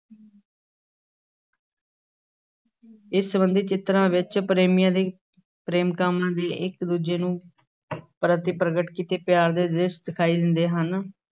ਇਸ ਸੰਬੰਧੀ ਚਿਤਰਾਂ ਵਿਚ ਪ੍ਰੇਮੀਆਂ ਤੇ ਪ੍ਰੇਮਕਾਵਾਂ ਦੇ ਇਕ-ਦੂਜੇ ਨੂੰ ਪ੍ਰਤੀ ਪ੍ਰਗਟ ਕੀਤੇ ਪਿਆਰ ਦੇ ਦ੍ਰਿਸ਼ ਦਿਖਾਈ ਦਿੰਦੇ ਹਨ।